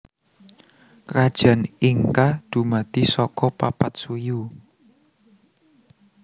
Krajan Inka dumadi saka papat suyu